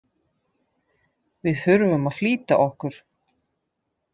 Við þurfum að flýta okkur.